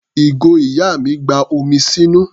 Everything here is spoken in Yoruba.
Ìgò ìyá mi gba omi sínú.